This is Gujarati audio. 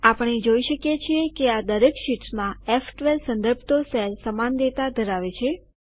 આપણે જોઇ શકીએ છીએ કે આ દરેક શીટ્સમાં ફ12 સંદર્ભતો સેલ સમાન ડેટા ધરાવે છે